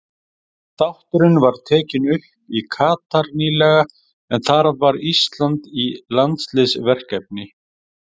Þátturinn var tekinn upp í Katar nýlega en þar var Ísland í landsliðsverkefni.